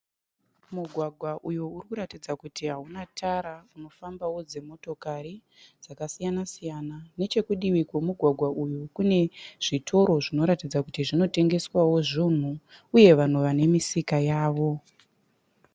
Mugwagwa uyo urikuratidza kuti hauna tara unofambawo dzimotokari dzakasiyana siyana. Nechekudivi kwemugwagwa iyu kune zvitoro zvinoratidza kuti zvinotengeswawo zvinhu uye vanhu vane misika yavo.